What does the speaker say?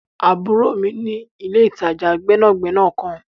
Àburo mi ni ìle-itaja gbẹnagbẹna kan.